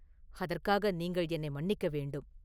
அதற்காக நீங்கள் என்னை மன்னிக்க வேண்டும்.